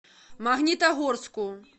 магнитогорску